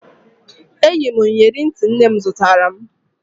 Eyi m iyeri ntị nne m zụtara m